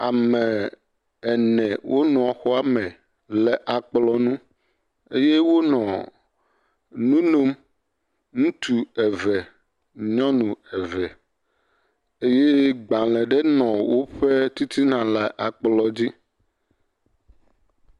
Ame ene wonɔ xɔ me le akplɔ nu eye wonɔ nu nom. Ŋutsu eve nyɔnu eve eye gbale aɖe nɔ woƒe titina le akplɔ dzi.